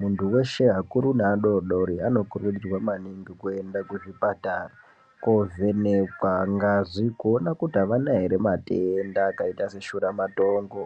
muntu weshe akuru nge adodori anokurudzirwa maningi kuenda kuzvipatara kwovhenekwa ngazi kuona kuti avana ere matenda akaita se shuramatongo.